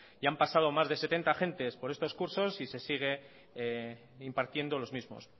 ya han pasado más de setenta agentes por esto cursos y se sigue impartiendo los mismos